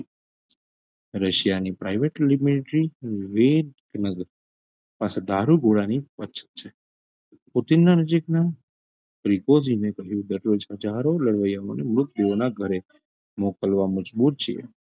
રશિયાની private પાછા દારૂગોળાની અછત છે કોથીનના નજીકના કહ્યું દરરોજ હજારો લડવૈયા ઘરે મોકલવા મજબુર છે.